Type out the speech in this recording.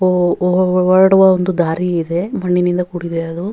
ಹೊರಡುವ ಒಂದು ದಾರಿ ಇದೆ ಮಣ್ಣಿನಿಂದ ಕೂಡಿದೆ ಅದು.